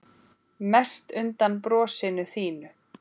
Mest undan brosinu þínu.